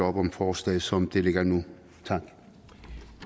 op om forslaget som det ligger nu